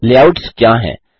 layouts क्या हैं160